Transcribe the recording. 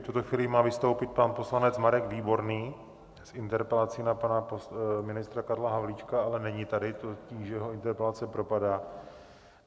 V tuto chvíli má vystoupit pan poslanec Marek Výborný s interpelací na pana ministra Karla Havlíčka, ale není tady, tudíž jeho interpelace propadá.